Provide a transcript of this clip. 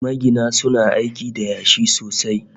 Magina suna aiki da yashi sosai